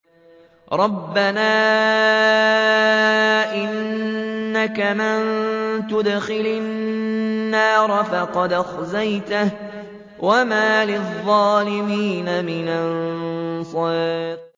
رَبَّنَا إِنَّكَ مَن تُدْخِلِ النَّارَ فَقَدْ أَخْزَيْتَهُ ۖ وَمَا لِلظَّالِمِينَ مِنْ أَنصَارٍ